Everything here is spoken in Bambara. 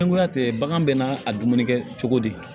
Sangoya tɛ bagan bɛ n'a a dumuni kɛ cogo di